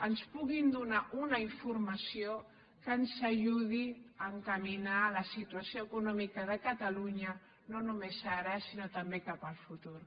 ens puguin donar una informació que ens ajudi a encaminar la situació econòmica de catalunya no només ara sinó també cap al futur